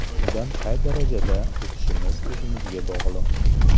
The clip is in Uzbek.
Undan qay darajada o‘tishimiz o‘zimizga bog‘liq”.